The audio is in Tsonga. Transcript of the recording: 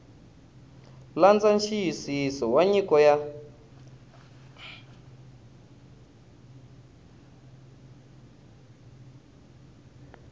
landza nxiyisiso wa nyiko ya